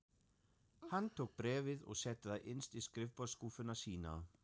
Hann tók bréfið og setti það innst í skrifborðsskúffuna sína.